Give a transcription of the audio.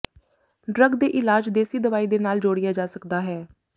drug ਦੇ ਇਲਾਜ ਦੇਸੀ ਦਵਾਈ ਦੇ ਨਾਲ ਜੋੜਿਆ ਜਾ ਸਕਦਾ ਹੈ